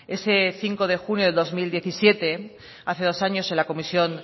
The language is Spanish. ese cinco de junio de dos mil diecisiete hace dos años en la comisión